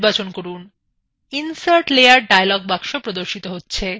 insert layer dialog box প্রদর্শিত হচ্ছে